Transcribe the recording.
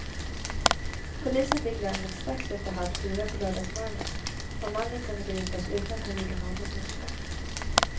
Polisen fick larmet strax efter halv fyra på lördagsmorgonen och mannen kunde gripas utan att han gjorde något motstånd.